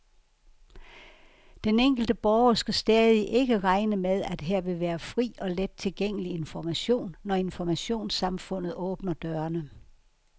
Den enkelte borger skal stadig ikke regne med, at her vil være fri og let tilgængelig information, når informationssamfundet åbner dørene.